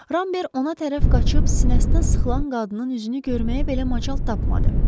Rambert ona tərəf qaçıb sinəsinə sıxılan qadının üzünü görməyə belə macal tapmadı.